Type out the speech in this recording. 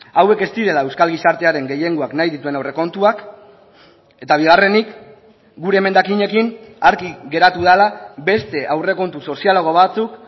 hauek ez direla euskal gizartearen gehiengoak nahi dituen aurrekontuak eta bigarrenik gure emendakinekin argi geratu dela beste aurrekontu sozialago batzuk